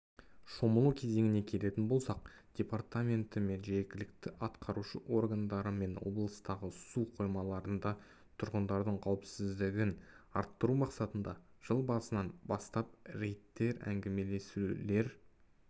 шомылу кезеңіне келетін болсақ департаменті мен жергілікті атқарушы органдарымен облыстағы су қоймаларында тұрғындардың қауіпсіздігін арттыру мақсатында жыл басынан бастап рейдтер әңгімелесулер